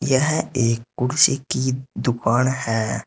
यह एक कुर्सी की दुकान है।